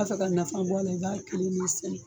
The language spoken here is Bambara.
N'i b'a fɛ ka nafa bɔ a la, i b'a kelen sɛnɛ.